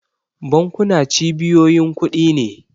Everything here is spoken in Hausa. Bankuna cibiyoyin kudi ne.